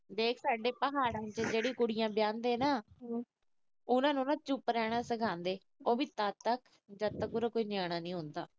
ਦੇਖ ਸਾਡੇ ਪਹਾੜਨ ਚ ਜਿਹੜੀਆਂ ਕੁੜੀਆਂ ਵਿਆਹੁਦੇ ਨਾ, ਉਹਨਾਂ ਨੂੰ ਨਾ ਚੁੱਪ ਰਹਿਣਾ ਸਿਖਾਉਂਦੇ। ਉਹ ਵੀ ਤੱਦ ਤੱਕ ਜਦ ਤੱਕ ਉਹਦਾ ਕੋਈ ਨਿਆਣਾ ਨਹੀਂ ਹੁੰਦਾ।